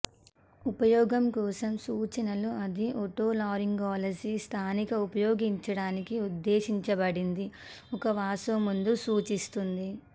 ఉపయోగం కోసం సూచనలు అది ఓటోలారింగాలజీ స్థానిక ఉపయోగించడానికి ఉద్దేశించబడింది ఒక వాసో మందు సూచిస్తుంది